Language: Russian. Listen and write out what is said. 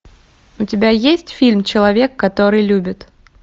у тебя есть фильм человек который любит